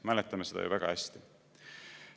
Mäletame seda ju väga hästi.